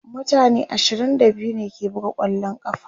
mutane ashirin da biyu ne ke buga kwallon ƙafa